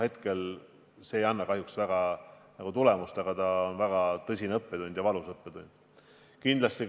Hetkel see kahjuks tulemust ei anna, aga see on väga tõsine ja valus õppetund.